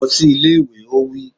Lọ sí ilé ìwé! Ó wí.